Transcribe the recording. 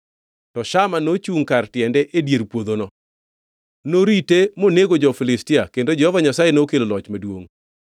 To Shama nochungʼ kar tiende e dier puodhono. Norite monego jo-Filistia, kendo Jehova Nyasaye nokelo loch maduongʼ.